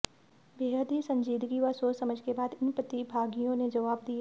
बेहद ही संजीदगी व सोचसमझ के बाद इन प्रतिभागियों ने जवाब दिए